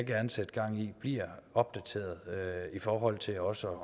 gerne sætte gang i bliver opdateret i forhold til også